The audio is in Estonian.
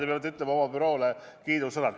Te peate ütlema oma büroole kiidusõnad.